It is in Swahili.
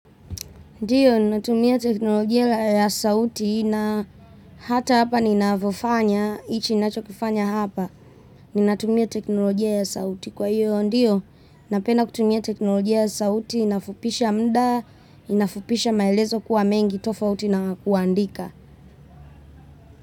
Ndiyo, natumia teknolojia ya sauti na hata hapa ninavyofanya, hichi kinachokufanya hapa. Ninatumia teknolojia ya sauti kwa hiyo, ndiyo, napenda kutumia teknolojia ya sauti, inafupisha muda, inafupisha maelezo kuwa mengi tofauti na kuandika.